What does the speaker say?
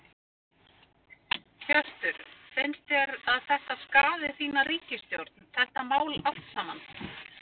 Hjörtur: Finnst þér að þetta skaði þína ríkisstjórn, þetta mál allt saman?